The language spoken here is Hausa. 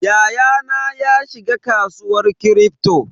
Yayana ya shiga kasuwar Kripto.